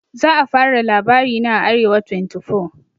za a fara labarina a arewa24